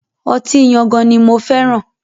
Ọtí Yangan ni mo fẹ́ràn.